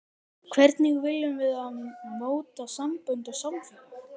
Hvernig viljum við móta sambönd og samfélag?